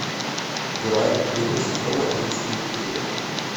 грань первый сезон одиннадцатый эпизод